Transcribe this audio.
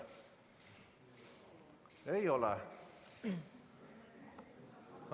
Ei ole.